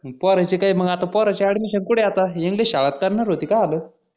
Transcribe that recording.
अं पोऱ्याच काय मग आता पोऱ्यानची admission कुठे आता english शाळेत करणार होते काय आल?